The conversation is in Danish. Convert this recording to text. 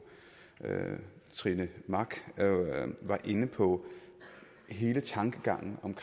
trine mach var inde på hele tankegangen om